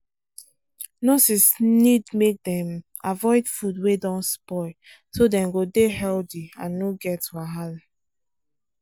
nurses need make dem avoid food wey don spoil so dem go dey healthy and no get wahala